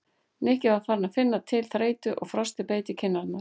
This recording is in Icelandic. Nikki var farinn að finna til þreytu og frostið beit í kinn- arnar.